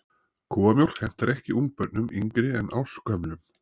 Kúamjólk hentar ekki ungbörnum yngri en ársgömlum.